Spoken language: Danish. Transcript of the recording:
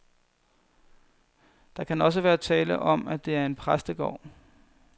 Der kan også være tale om, at det er en præstegård.